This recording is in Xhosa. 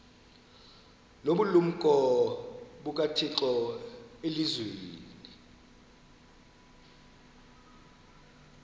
nobulumko bukathixo elizwini